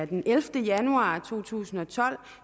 den ellevte januar to tusind og tolv